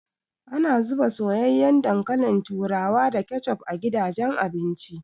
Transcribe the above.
Ana zuba soyayyen dankalin turawa da kecef a gidajen abinci.